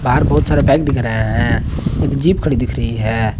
बाहर बहुत सारे बाइक दिख रहे है एक जीप खड़ी दिख रही है।